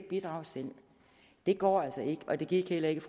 bidrage selv det går altså ikke og det gik heller ikke